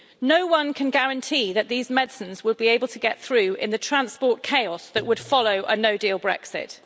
No one can guarantee that these medicines will be able to get through in the transport chaos that would follow a no deal Brexit.